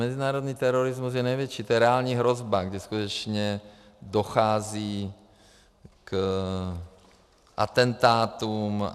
Mezinárodní terorismus je největší, to je reálná hrozba, kdy skutečně dochází k atentátům.